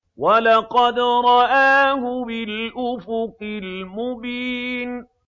وَلَقَدْ رَآهُ بِالْأُفُقِ الْمُبِينِ